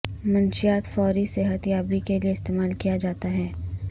منشیات فوری صحت یابی کے لئے استعمال کیا جاتا ہے